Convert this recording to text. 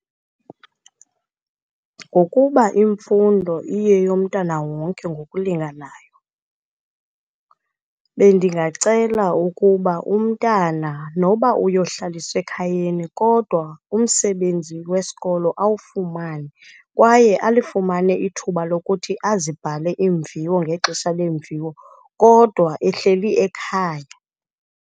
Ngokuba imfundo iye yomntana wonke ngokulinganayo, bendingacela ukuba umntana, noba uyohlaliswe ekhayeni, kodwa umsebenzi wesikolo awufumane kwaye alifumane ithuba lokuthi azibhale iimviwo ngexesha lweemviwo, kodwa ehleli ekhaya.